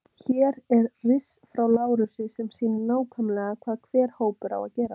Hér er riss frá Lárusi sem sýnir nákvæmlega hvað hver hópur á að gera.